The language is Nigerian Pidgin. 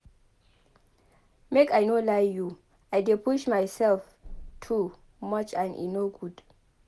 Make I no lie you I dey push mysef too much and e no good.